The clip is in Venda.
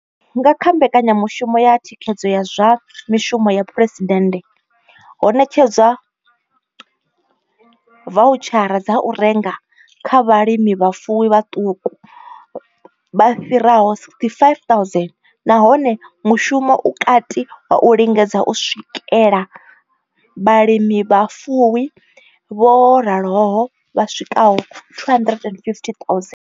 Nga kha mbekanyamushumo ya thikhedzo ya zwa mishumo ya phresidennde, ho ṋetshedzwa vautshara dza u renga kha vhalimivhafuwi vhaṱuku vha fhiraho 65 000, nahone mushumo u kati wa u lingedza u swikela vhalimivhafuwi vho raloho vha swikaho 250 000.